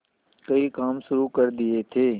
कई काम शुरू कर दिए थे